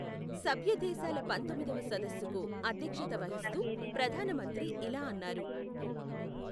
సభ్యదేశాల పంతొమ్మిదవ సదస్సుకు అధ్యక్షత వహిస్తూ ప్రధాన మంత్రి ఇలా అన్నారు.